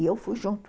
E eu fui junto.